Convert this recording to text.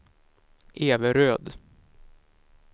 Everöd